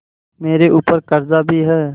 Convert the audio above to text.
मेरे ऊपर कर्जा भी है